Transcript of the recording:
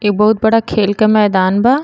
इ बहुत बड़ा खेल के मैदान बा।